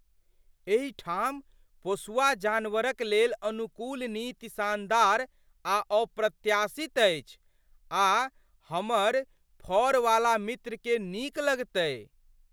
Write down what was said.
एहि ठाम पोसुआ जानवरक लेल अनुकूल नीति शानदार आ अप्रत्याशित अछि आ हमर फर वाला मित्र के नीक लगतै।